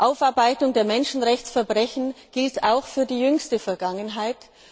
Aufarbeitung der Menschenrechtsverbrechen gilt auch für die jüngste Vergangenheit.